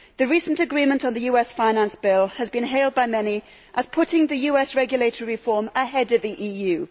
The recent agreement on the US finance bill has been hailed by many as putting the US regulatory reform ahead of the EU.